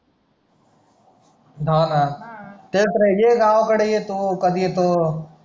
हा ना शेट READY आहे गावाकडे येतो कधी येतो